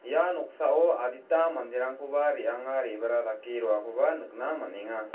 ia noksao adita manderangkoba re·anga re·bara dake roakoba nikna man·enga.